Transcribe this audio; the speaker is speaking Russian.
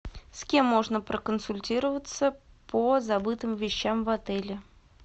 с кем можно проконсультироваться по забытым вещам в отеле